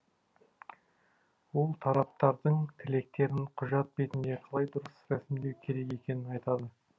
ол тараптардың тілектерін құжат бетінде қалай дұрыс рәсімдеу керек екенін айтады